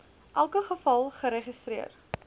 elke geval geregistreer